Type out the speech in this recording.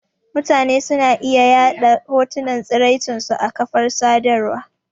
Mutane suna iya yaɗa hotunan tsiraicin su a kafar sadarwa.